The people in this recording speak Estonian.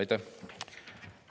Aitäh!